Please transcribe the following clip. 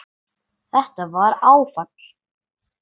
Þetta var áfall.